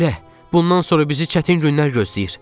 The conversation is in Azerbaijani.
Belə, bundan sonra bizi çətin günlər gözləyir.